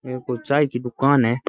ये कोई चाय की दुकान है।